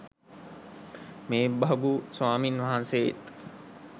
මේ භගු ස්වාමින් වහන්සේත්